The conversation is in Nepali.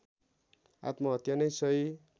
आत्महत्या नै सही